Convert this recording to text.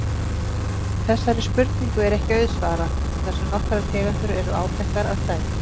Þessari spurningu er ekki auðsvarað þar sem nokkrar tegundir eru áþekkar að stærð.